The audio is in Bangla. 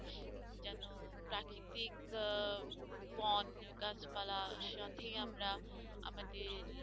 বন গাছপালার সাথেই আমরা আমাদের